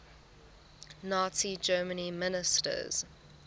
nazi germany ministers